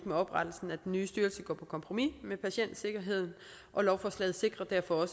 med oprettelsen af den nye styrelse går på kompromis med patientsikkerheden og lovforslaget sikrer derfor